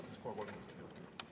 Võtaks ka kolm minutit juurde.